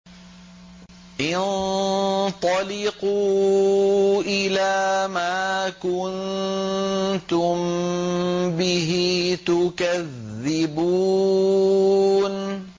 انطَلِقُوا إِلَىٰ مَا كُنتُم بِهِ تُكَذِّبُونَ